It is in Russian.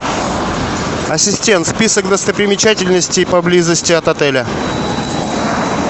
ассистент список достопримечательностей поблизости от отеля